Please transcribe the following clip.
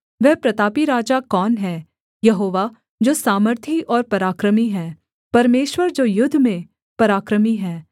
वह प्रतापी राजा कौन है यहोवा जो सामर्थी और पराक्रमी है परमेश्वर जो युद्ध में पराक्रमी है